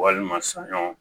Walima saɲɔ